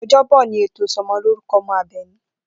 O̩jó̩bò̩ ni ètò ìso̩mo̩lórúko̩ o̩mo̩ Àbè̩ní